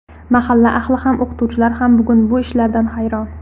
Mahalla ahli ham, o‘qituvchilar ham bugun bu ishlardan hayron.